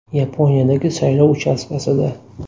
Yaponiyadagi saylov uchastkasida.